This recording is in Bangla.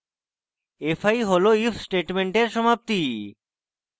fi হল if স্টেটমেন্টের সমাপ্তি